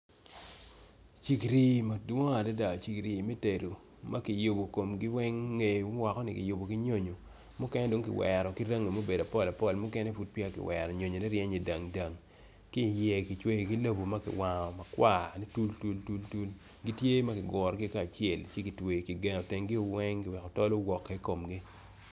Cigiri madwong adada cigiri me tedo ma ki yubo komgi weny ngegi ni ki yubo ki nyonyo mukene dong kiwero ki rangi ma obedo apol apol mukene pud pe ya ki wero nyonyone ryeny nidang dang.